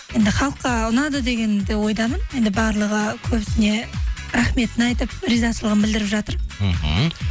енді халыққа ұнады деген де ойдамын енді барлығы көбісіне рахметін айтып ризашылығын білдіріп жатыр мхм